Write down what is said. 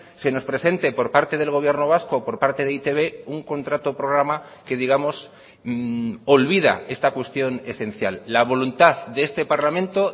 se nos presente por parte del gobierno vasco por parte de e i te be un contrato programa que digamos olvida esta cuestión esencial la voluntad de este parlamento